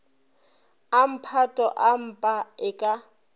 a mphato empa e ka